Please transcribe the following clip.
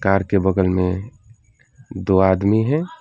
Car बगल में दो आदमी है।